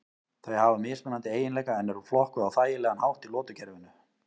Þau hafa mismunandi eiginleika en eru flokkuð á þægilegan hátt í lotukerfinu.